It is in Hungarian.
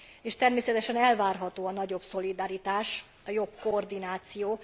És természetesen elvárható a nagyobb szolidaritás, a jobb koordináció.